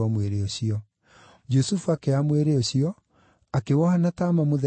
Jusufu akĩoya mwĩrĩ ũcio, akĩwoha na taama mũtheru wa gatani,